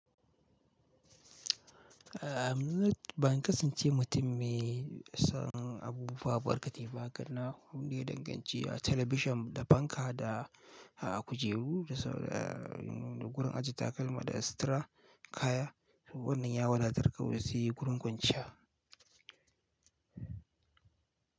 A mnut banka sun ce mutum me son abubuwa barkate ba, karna wuri danganci a talabishan da fanka da a kujeru da gurin ajiye takalma da sitara kaya. Wannan yawadatar kawai sai gurin kwanciya.